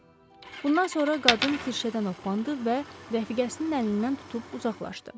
Bundan sonra qadın kirşədən opandı və rəfiqəsinin əlindən tutub uzaqlaşdı.